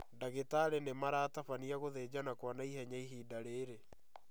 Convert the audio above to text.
Ndagĩtarĩ nĩmaratabania gũthinjana kwa naihenya ihinda rĩrĩ